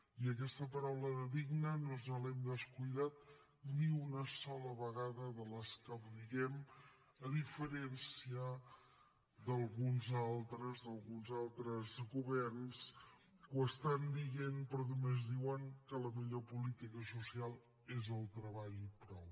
i aquesta paraula de digne no ens l’hem descuidat ni una sola vegada de les que ho diem a diferència d’alguns altres governs que ho diuen però només diuen que la millor política social és el treball i prou